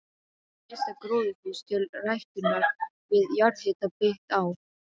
Fyrsta gróðurhús til ræktunar við jarðhita byggt á